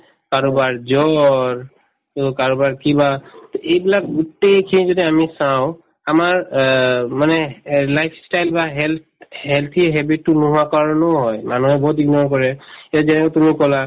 কাৰোবাৰ জ্বৰ to কাৰোবাৰ কিবা to এইবিলাক গোটেইখিনি যদি আমি চাওঁ আমাৰ অ উম মানে এহ্ life style বা health healthy habit তো নোহোৱা কাৰণেও হয় মানুহে বহুত ignore কৰে এই যেনেকে তুমি কলা